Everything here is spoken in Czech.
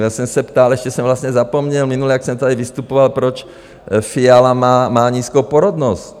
Já jsem se ptal, ještě jsem vlastně zapomněl minule, jak jsem tady vystupoval, proč Fiala má nízkou porodnost?